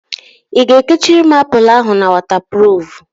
I ga-ekechiri m apụl ahụ na wọtapruf?